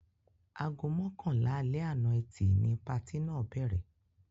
Aago mọ́kànlá alẹ́ àná Ẹtì ni patí náà bẹ̀rẹ̀.